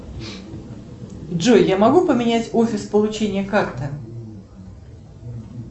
джой я могу поменять офис получения карты